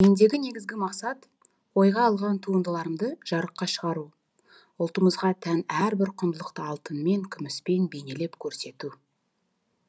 мендегі негізгі мақсат ойға алған туындыларымды жарыққа шығару ұлтымызға тән әрбір құндылықты алтынмен күміспен бейнелеп көрсету